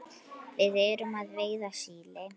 Við erum að veiða síli.